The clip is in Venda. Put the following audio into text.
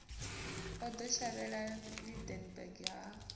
o ḓo shavhela lydenburg ha